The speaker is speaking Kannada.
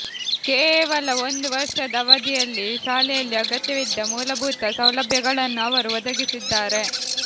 ಕೇವಲ ಒಂದು ವರ್ಷದ ಅವಧಿಯಲ್ಲಿ ಶಾಲೆಯಲ್ಲಿ ಅಗತ್ಯವಿದ್ದ ಮೂಲಭೂತ ಸೌಲಭ್ಯಗಳನ್ನು ಅವರು ಒದಗಿಸಿದ್ದಾರೆ